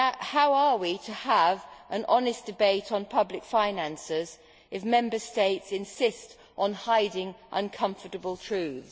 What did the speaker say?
How are we to have an honest debate on public finances if Member States insist on hiding uncomfortable truths?